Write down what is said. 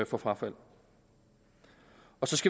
for frafald